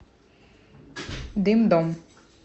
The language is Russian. дым дом